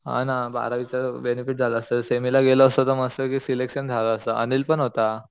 हा ना बारावीच बेनेफिट झालं असत सेमी ला गेलो असतो तर मस्त पैकी सिलेक्शन झालं असत अनिल पण होता